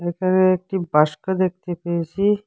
এখানে একটি বাক্স দেখতে পেয়েছি।